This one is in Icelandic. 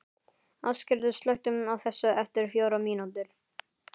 Ásgerður, slökktu á þessu eftir fjórar mínútur.